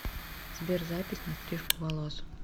сбер запись на стрижку волос